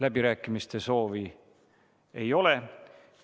Läbirääkimiste soovi ei ole.